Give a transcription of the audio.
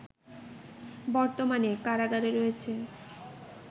বর্তমানে কারাগারে রয়েছে